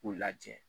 K'u lajɛ